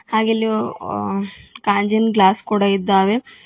ಹಾಗೇ ಇಲ್ಲಿ ವ ಕಾಂಜಿನ ಕ್ಲಾಸ್ ಕೂಡ ಇದ್ದಾವೆ.